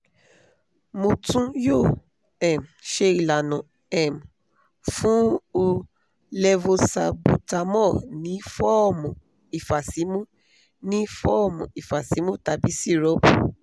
mo tun yoo um ṣe ilana um fun u levosalbutamol ni fọọmu ifasimu ni fọọmu ifasimu tabi sirupu